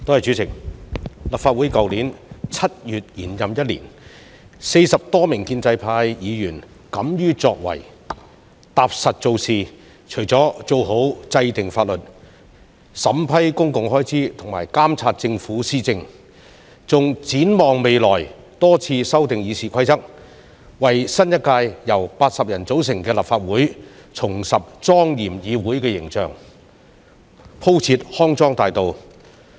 主席，立法會去年7月延任一年 ，40 多名建制派議員敢於作為，踏實做事，除了做好制訂法律、審批公共開支和監察政府施政，還展望未來，多次修訂《議事規則》，為新一屆由90人組成的立法會重拾莊嚴議會的形象，鋪設康莊大道。